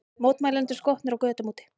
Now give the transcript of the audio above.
Mótmælendur skotnir á götum úti